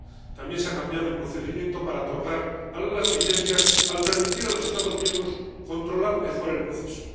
también se ha cambiado el procedimiento para otorgar las licencias, al permitir a los Estados miembros controlar mejor el proceso.